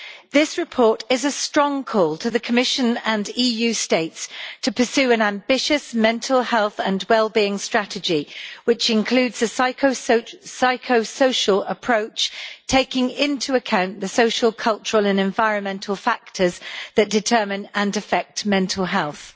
This report is a strong call to the Commission and Member States to pursue an ambitious mental health and well-being strategy, which includes a psychosocial approach, taking into account the social, cultural and environmental factors that determine and affect mental health.